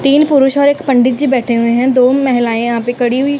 तीन पुरुष और एक पंडित जी बैठे हुए हैं दो महिलाएं यहां पे खड़ी हुई--